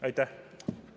Aitäh!